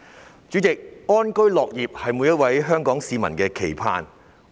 代理主席，安居樂業是每一位香港市民的期盼。